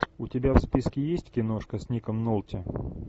у тебя в списке есть киношка с ником нолти